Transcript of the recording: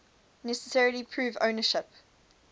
necessarily prove ownership